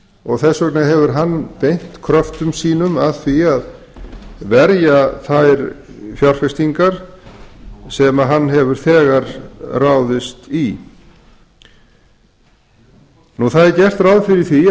og þess vegna hefur hann beint kröftum sínum að því að verja þær fjárfestingar sem hann hefur þegar ráðist í það er gert ráð fyrir því